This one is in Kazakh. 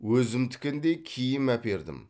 өзімдікіндеи киім әпердім